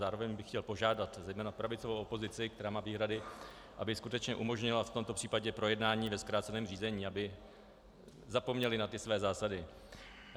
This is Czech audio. Zároveň bych chtěl požádat zejména pravicovou opozici, která má výhrady, aby skutečně umožnila v tomto případě projednání ve zkráceném řízení, aby zapomněli na ty své zásady.